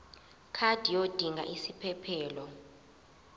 card yodinga isiphephelok